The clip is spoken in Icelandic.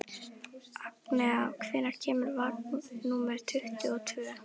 Agnea, hvenær kemur vagn númer tuttugu og tvö?